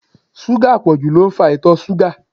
Súgà àpọ̀jù ló ń fa ìtọ̀ ṣúgà.